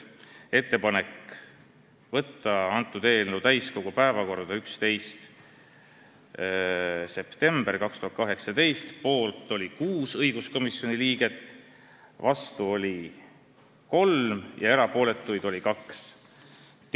Kõigepealt, ettepanek võtta eelnõu täiskogu istungi päevakorda 11. septembriks 2018 – poolt oli 6 õiguskomisjoni liiget, vastu 3 ja erapooletuid 2.